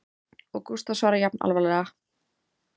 Og Gústaf svarar jafn alvarlega